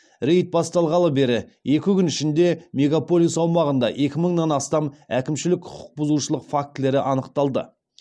рейд басталғалы бергі екі күн ішінде мегаполис аумағында екі мыңнан астам әкімшілік құқық бұзушылық фактілері анықталды